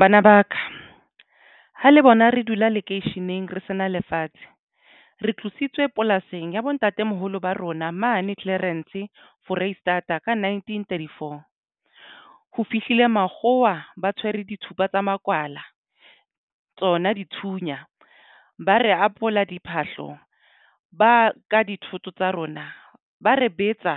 Bana ba ka ha le bona re dula lekeisheneng re sena lefatshe re tlositswe polasing ya bo ntatemoholo ba rona mane Clarens Foreisetata ka nineteen thirty four ho fihlile makgowa ba tshwere dithupa tsa makwala tsona dithunya ba re apola diphahlo ba ka dithoto tsa rona ba re betsa